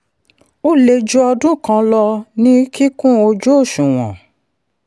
ó lè ju ọdún kan lọ ní kíkún ojú-òṣùwọ̀n.